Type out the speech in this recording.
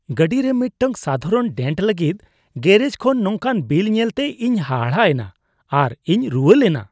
ᱜᱟᱹᱰᱤᱨᱮ ᱢᱤᱫᱴᱟᱝ ᱥᱟᱫᱷᱟᱨᱚᱱ ᱰᱮᱱᱴ ᱞᱟᱹᱜᱤᱫ ᱜᱮᱨᱮᱡᱽ ᱠᱷᱚᱱ ᱱᱚᱝᱠᱟᱱ ᱵᱤᱞ ᱧᱮᱞᱛᱮ ᱤᱧ ᱦᱟᱦᱟᱲᱟ ᱮᱱᱟ ᱟᱨ ᱤᱧ ᱨᱩᱣᱟᱹ ᱞᱮᱱᱟ ᱾